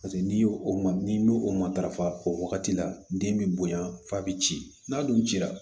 Paseke n'i y'o ma n'i o matarafa o wagati la den bɛ bonya f'a bi ci n'a dun cira